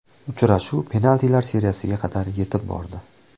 Uchrashuv penaltilar seriyasiga qadar yetib bordi.